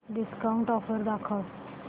discount offer दाखव